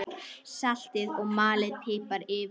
Saltið og malið pipar yfir.